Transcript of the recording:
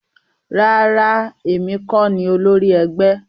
Rárá, èmi kọ ní olórí ẹgbẹ́